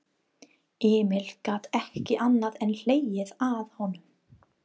Emil gat ekki annað en hlegið að honum.